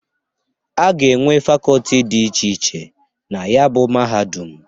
Aga enwe facoti di iche iche na ya bụ mahadum.